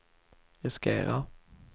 riskerar